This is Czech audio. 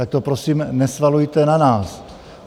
Tak to prosím nesvalujte na nás!